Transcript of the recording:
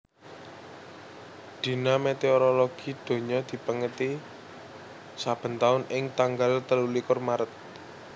Dina Météorologi Donya dipèngeti saben taun ing tanggal telulikur Maret